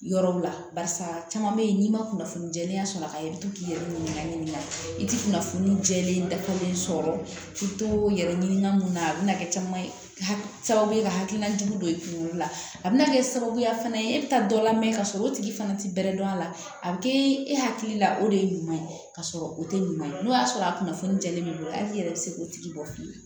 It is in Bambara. Yɔrɔw la barisa caman be yen n'i ma kunnafoni jɛlenya sɔrɔ a kan i bi to k'i yɛrɛ ɲininka ɲininkali kɛ i ti kunnafoni jɛlen dafalen sɔrɔ k'i to yɛrɛ ɲininka mun na a bɛna kɛ caman ye sababu ye ka hakilila jugu don i kunkolo la a bɛna kɛ sababuya fana ye e bɛ taa dɔ lamɛn ka sɔrɔ o tigi fana ti bɛrɛ dɔn a la a bɛ kɛ e hakili la o de ye ɲuman ye ka sɔrɔ o tɛ ɲuman ye n'o y'a sɔrɔ a kunnafoni jɛlen bɛ hali i yɛrɛ bɛ se k'o tigi bɔ fiyewu